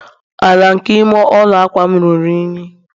ala nke ime ụlọ a akwa'm ruru unyi